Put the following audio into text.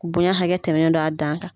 Bonya hakɛ tɛmɛnen don' a dan kan.